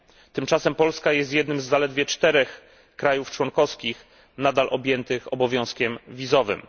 Tymczasem Polska jest jednym z zaledwie czterech krajów członkowskich nadal objętych obowiązkiem wizowym.